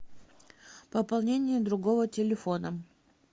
пополнение другого телефона